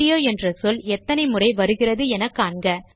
video என்ற சொல் எத்தனை முறை வருகிறது என்று காண்க